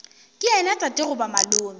ke yena tate goba malome